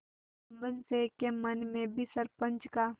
जुम्मन शेख के मन में भी सरपंच का